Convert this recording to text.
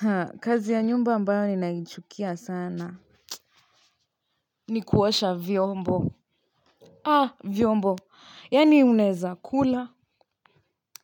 Haa kazi ya nyumba ambayo ninaichukia sana ni kuosha vyombo vyombo yaani mnaweza kula